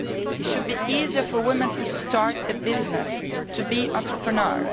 It should be easier for women to start a business and to be entrepreneurs.